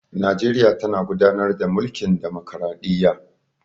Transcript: Najeriya tana gudanar da mulkin ɗamakraɗiyya.